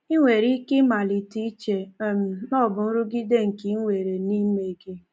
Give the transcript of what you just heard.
I nwere ike ịmalite iche um na ọ bụ nrụgide nke i nwere n’ime gị.